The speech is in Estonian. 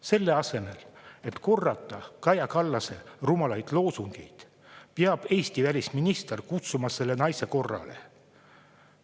Selle asemel, et korrata Kaja Kallase rumalaid loosungeid, peab Eesti välisminister kutsuma selle naise korrale.